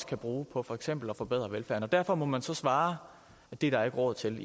kan bruge på for eksempel også at forbedre velfærden derfor må man så svare at det er der ikke råd til